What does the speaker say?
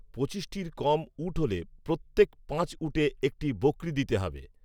পঁচিশটির কম উট হলে প্রত্যেক পাঁচ উটে একটি বকৱী দিতে হবে